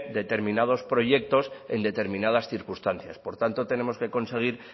determinados proyectos en determinadas circunstancias por tanto tenemos que conseguir